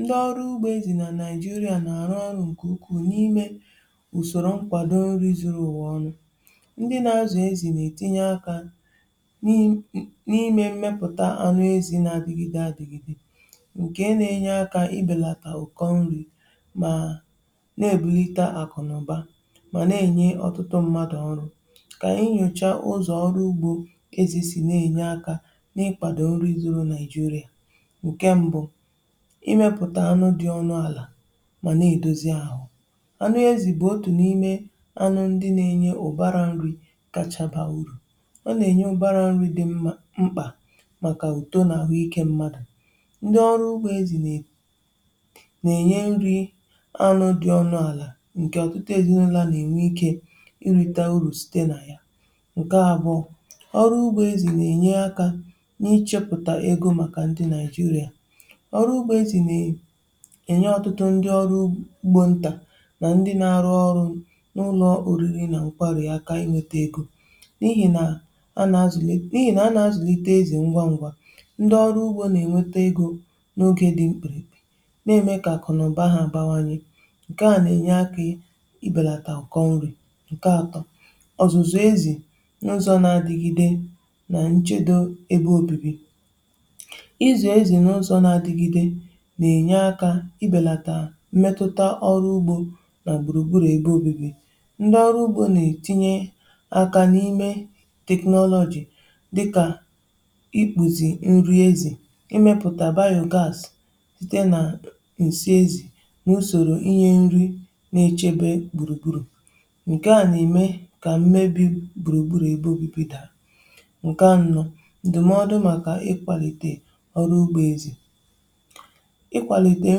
Ndị ọrụ ugbȯ ezi nà Naịjirịà nà-àrụ ọrụ ǹkè ukwuu n’ime ùsòrò nkwàdo nri zuru ụ̀wa ọnụ̇. Ndị nȧ-azụ̀ ezi nà-ètinye akȧ n’imė mmepụ̀ta anụ ezi nà-adịgide adịgide, ǹkè na-enye akȧ i bèlàtà ụ̀kọ nri̇ mà na-èbulite àkụ̀nụ̀ba mà na-enye ọtụtụ mmadụ̀ ọrụ. Kà e nyòchaa ụzọ̀ ọrụ ugbȯ ezi si na-enye akȧ n’ịkwàdò nri zuru Nàịjirịà. Nke mbụ́, I mepụta anụ dị ọnụ ala mà na-èdozi ahụ́. Anụ ezì bụ̀ otù n’ime anụ ndị na-enye ụ̀bara nri̇ kacha baa urù. Ọ nà-ènye ụbara nri̇ dị mma mkpà màkà uto nà àhụ ikė mmadù. Ndị ọrụ ugbȯ ezì nà-ènye nri anụ dị ọnụ̇ àlà ǹkè ọ̀tụtụ ezì ụlọ̇ nà-ènwe ikė ịrị̇ta urù site nà yà. Nke abụọ, ọrụ ugbȯ ezì nà-ènye akȧ n’ịchepụ̀tà egȯ màkà ndị Naịjiria. Ọrụ ugbo ezi na-enye ọtụtụ ndi ọrụ ugbo ntà na ndị na-arụ ọrụ n’ụlọ oriri na nkwari aka i nweta egȯ, n’ihi na a na-azụlite n’ihi na a na-azụlite ezì ngwa ngwa. Ndi ọrụ ugbȯ na-enweta egȯ n’ogè di mkpirikpi, nà-eme ka akụnụba ha bawanye. Nke à na-enye aka ị belatà ụkọ nrị̇ Nke atọ, ọzụzụ ezì n’ụzọ̇ na-adịgide na nchedo ebe obibi: ị zụ ezi n'ụzọ na-adigide nà-enye akȧ ị bèlàtà mmetụta ọrụ ugbȯ nà gbùrùgburù ebe obibi. Ndị ọrụ ugbȯ nà-ètinye akȧ n’ime technology dịkà ikpùzi nri ezì, ị mịpụta biogas site nà ǹsị ezì nà usòrò i nyė nri n’echebe gbùrùgburù. Nkè a nà-ème kà mmebi gbùrùgburù ebe obibi dàa. Nke anọ, ndụmọdụ màkà ị kwàlìtè ọrụ ugbȯ ezì: ị kwalite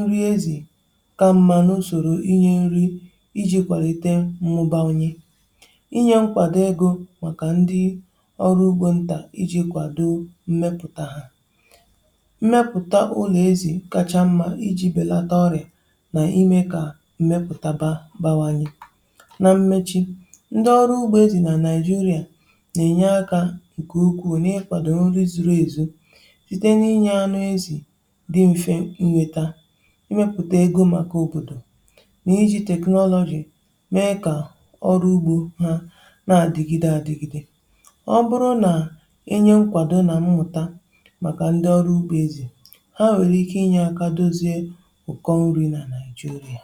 nri ezi ka mmȧ n’usòrò i nyė nri i ji̇ kwàlite mmụ̀bà onye. i nye nkwàdo egȯ màkà ndi ọrụ ugbȯ ntà i ji̇ kwàdo mmepụ̀ta hà. Mmepụ̀ta ụlọ̀ ezi kacha mmȧ i ji̇ bèlata ọrịà nà ime kà mmepụ̀tabȧ bȧwanye. Nà mmechi, ndi ọrụ ugbȯ ezi nà Naịjirịà nà-ènye akȧ ǹkè ukwuù n’ịkwàdò nri zuru èzù, site na i nyė anụ ezi̇ dị mfe nnweta, ị mẹpụ̀ta ego màkà òbòdò, nà i ji technology mee kà ọrụ ugbȯ ha na-adịgide adịgide. Ọ bụrụ nà-enye nkwàdo nà mmụta màkà ndị ọrụ ugbo ezì, ha nwere ike i nye aka dozie ụ̀kọ nri nà Naịjirịa.